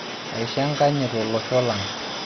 aisho enkanyit olosho lang'!